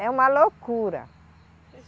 É uma loucura.